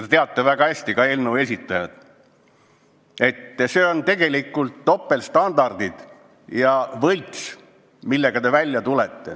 Te teate väga hästi, ka eelnõu esitajad teavad, et see, millega nad välja tulid, on tegelikult topeltstandardid, see on võlts, millega nad välja tulid.